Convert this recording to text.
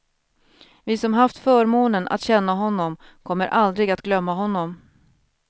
Vi som haft förmånen att känna honom kommer aldrig att glömma honom.